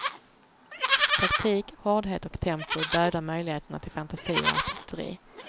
Taktik, hårdhet och tempo dödar möjligheterna till fantasi och artisteri.